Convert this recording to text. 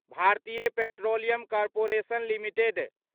Bharatiya petroleum corporation limited